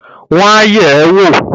Wọ́n á yẹ̀ ẹ́ wò!